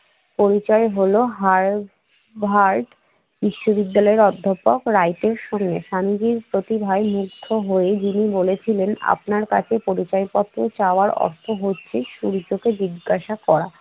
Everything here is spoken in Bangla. পরিচয় হলো হার্বার্ড বিশ্ববিদ্যালয়ের অধ্যাপক রাইটের সঙ্গে। স্বামীজীর প্রতিভায় মুগ্ধ হয়ে যিনি বলেছিলেন আপনার কাছে পরিচয়পত্র চাওয়ার অর্থ হচ্ছে সূর্যকে জিজ্ঞাসা করা